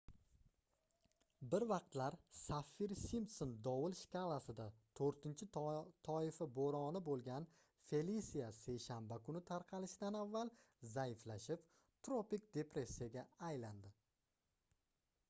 bir vaqtlar saffir-simpson dovul shkalasida 4-toifa boʻroni boʻlgan felisia seshanba kuni tarqalishidan avval zaiflashib tropik depressiyaga aylandi